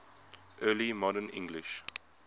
early modern english